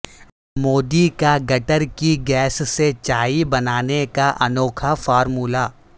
مودی کا گٹر کی گیس سے چائے بنانے کا انوکھا فارمولا